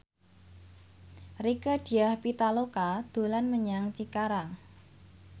Rieke Diah Pitaloka dolan menyang Cikarang